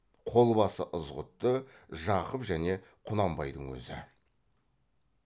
қол басы ызғұтты жақып және құнанбайдың өзі